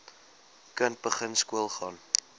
kind begin skoolgaan